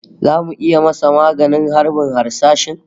Zamu iya masa maganin harbin harsashin?